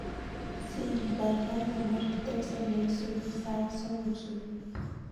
Siri kaigai konor teksi neisupu sait somok supui